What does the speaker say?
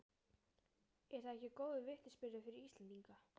Er það ekki góður vitnisburður fyrir Íslendinga?